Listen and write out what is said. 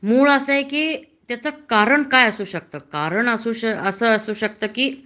मुळ अस आहे कि त्यांना कारण असू शकत कारन असू शकत कि